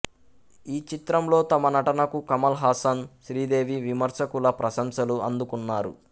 ఈ చిత్రంలో తమ నటనకు కమల్ హాసన్ శ్రీదేవి విమర్శకుల ప్రశంసలు అందుకున్నారు